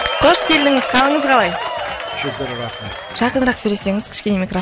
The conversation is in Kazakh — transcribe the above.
қош келдіңіз қалыңыз қалай